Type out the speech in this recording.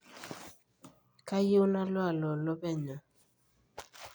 kaiyieu nalo aloloo penyo